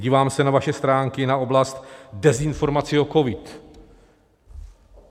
Dívám se na vaše stránky, na oblast dezinformací o covidu.